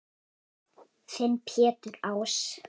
Þinn Pétur Ás.